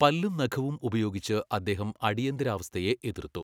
പല്ലും നഖവും ഉപയോഗിച്ച് അദ്ദേഹം അടിയന്തിരാവസ്ഥയെ എതിർത്തു .